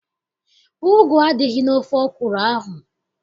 Ugu adịghị n'ofe ọkwụrụ ahụ.